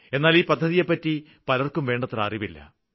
എന്നാല് ഈ പദ്ധതിയെപ്പറ്റി പലര്ക്കും വേണ്ടത്ര അറിവില്ല